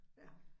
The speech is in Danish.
Ja